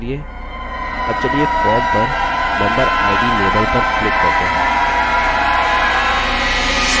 अब चलिए form पर memberid label पर click करते हैं